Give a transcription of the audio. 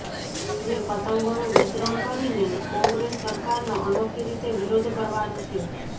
જે પતંગોનું વિતરણ કરીને કોંગ્રેસ સરકારનો અનોખી રીતે વિરોધ કરવાનું છે